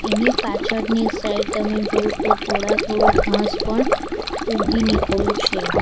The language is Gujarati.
એની પાછળ ની સાઇડ તમે જોવો તો થોડા થોડું ઘાસ પણ ઉગી નીકળું છે.